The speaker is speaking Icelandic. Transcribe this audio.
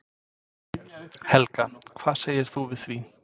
Helga: Hvað segir þú við því?